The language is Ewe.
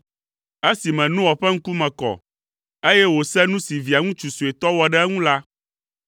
Esime Noa ƒe ŋkume kɔ, eye wòse nu si Via ŋutsu suetɔ wɔ ɖe eŋu la,